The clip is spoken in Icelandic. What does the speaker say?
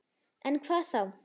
En hvað þá?